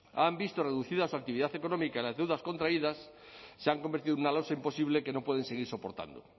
han visto reducida su actividad económica y las deudas contraídas se han convertido en una losa imposible que no pueden seguir soportando